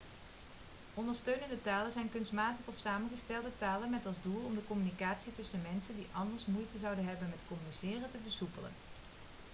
ondersteunende talen zijn kunstmatige of samengestelde talen met als doel om de communicatie tussen mensen die anders moeite zouden hebben met communiceren te versoepelen